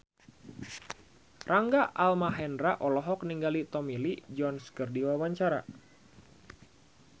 Rangga Almahendra olohok ningali Tommy Lee Jones keur diwawancara